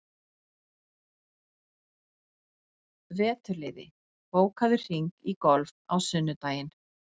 Veturliði, bókaðu hring í golf á sunnudaginn.